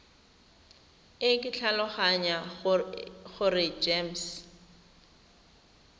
e ke tlhaloganya gore gems